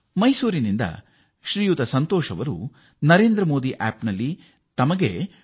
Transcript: ಮೈಸೂರಿನಿಂದ ಶ್ರೀಮಾನ್ ಸಂತೋಷ್ ಅವರು ಸಂತಸ ವ್ಯಕ್ತಪಡಿಸಿ ನರೇಂದ್ರ ಮೋದಿ ಆಪ್ ನಲ್ಲಿ ಹೀಗೆ ಬರೆದಿದ್ದಾರೆ